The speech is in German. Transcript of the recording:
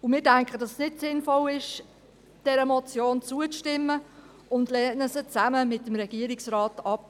Wir denken, dass es nicht sinnvoll ist, dieser Motion zuzustimmen und lehnen sie zusammen mit dem Regierungsrat ab.